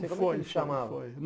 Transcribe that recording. Como é que ele se chamava?